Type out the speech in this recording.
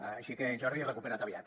així que jordi recupera’t aviat